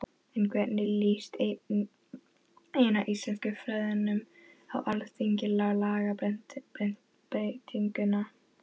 En hvernig líst eina íslenskufræðingnum á Alþingi á lagabreytinguna?